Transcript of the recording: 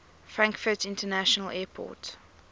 frankfurt international airport